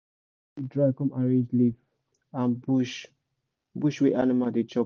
make you dry com arrange leave and bush bush wey animal dey chop